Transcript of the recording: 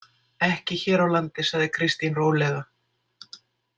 Ekki hér á landi, sagði Kristín rólega.